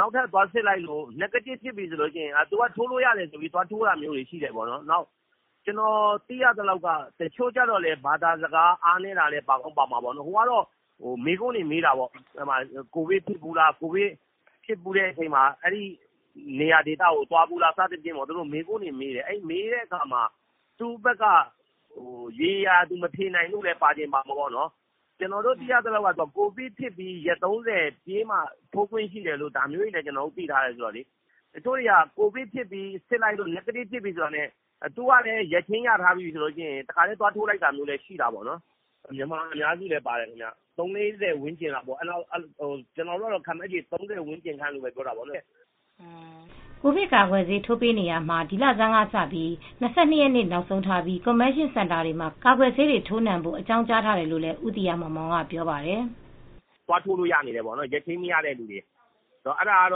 နောက်ထပ် သွားစစ်လိုက်တော့ Negative ဖြစ်ပြီးပြီဆိုပြီး ထိုးလို့ရပြီဆိုပြီး သွားထိုးလိုက်တာလည်းရှိတယ်။ သူတို့က တော့မေးခွန်းတွေမေးပါတယ် ။ဘာသာစကားနားမလည်လို့ အားနည်းတာလည်းပါမယ ်။မေးခွန်းတွေက ကိုဗစ်ဖြစ်ဘူးလား ဘယ်နေရာကိုသွားဘူးလဲ အဲဒါတွေမေးတယ် ကျနော်တို့ သိရသလောက်က ကိုဗစ်ဖြစ်ပြီး ရက် ၃၀ လောက်ကြာမှ ထိုးခွင့်ရှိတယ်လို့သိရတယ်။တချို့ကတော့ ကိုဗစ်ဖြစ်ပြီး Negative ဖြစ်ပြီဆိုပြီး သွားထိုးလိုက်တာပဲ မြန်မာအများစုပါတယ ်သုံးလေးဆယ်ဝန်းကျင်လောက်သေကြတာ ကျနော်တို့ကတော့ ခန့်မှန်းချေ ၃၀ လောက်လို့ သတ်မှတ်ထားတာပေါ့။" ကိုဗစ်ကာကွယ်ဆေးထိုးပေးနေရာမှာဒီလဆန်းကစပြီး ၂၂ ရက်နေ့နောက်ဆုံးထားပြီ းCONVENTION CENTER တွေမှ ာကာကွယ်ဆေးထိုးနံှဖို့ အကြောင်းကြားထားတယ်လိုဦးသီဟမောင်မောင်ကပြောပါတယ် "သွားထိုးလို့ရနေတယ်ပေါ့ ရက်ချိန်းမရတဲ့သူတွေ အဲဒါက ၂၂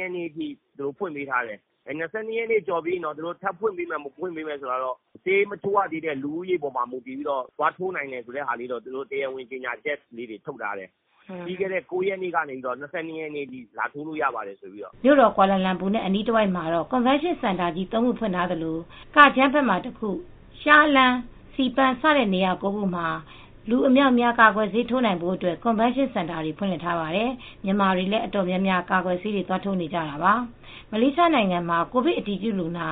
ရက်နေ့ထိ ဖွင့်ပေးထားတယ်။ ၂၂ ရက်နေ့ကျော်ရင်တော့ ထပ်ဖွင့်ဖို့က ဆေးမထိုးရ သေးတဲ့သူတွေအပါ်မူတည်ပြီး ထပ်ဖွင့်ပေးမလား သွားထိုးနိုင်တယ်ဆိုပြီး တရားဝင် ထုတ်ကြေငြာချက်တော့ထုတ်တယ်ပြီးခဲ့တဲ့ ၉ ရက်နေ့ကနေ ၂၂ ရက်နေ့ထိတော့ တရားဝင်လာထိုးဖို့ ပြောထားတယ်။" မြို့တော်ကွာလာလမ်ပူနဲ့ အနီးတဝိုက်မှာ CONVENTION CENTER ကြီ း၃ ခုဖွင့်ထားသလို Kajang ဘက်မှာတခု Shah Alam၊ Sepang စတဲ့နေရာ ၉ ခုမှာ လူအမြောက်အများ ကာကွယ်ဆေးအခမဲ့ထိုးနိုင်ဖို့ CONVENTION CENTER တွေဖွင့်လှစ်ထားပါတယ်။ မြန်မာတွေလည်းအတော်များများကာကွယ်ဆေးကိုသွားထိုးနေကြတာပါ။ မလေးရှားနိုင်ငံမှာ ကိုဗစ်အတည်ပြုလူနာ